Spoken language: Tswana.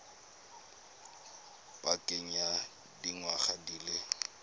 pakeng ya dingwaga di le